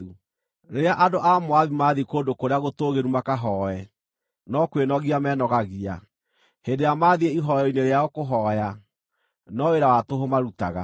Rĩrĩa andũ a Moabi maathiĩ kũndũ kũrĩa gũtũũgĩru makahooe, no kwĩnogia menogagia; hĩndĩ ĩrĩa maathiĩ ihooero-inĩ rĩao kũhooya, no wĩra wa tũhũ marutaga.